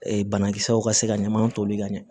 Ee banakisɛw ka se ka ɲamanw toli ka ɲɛ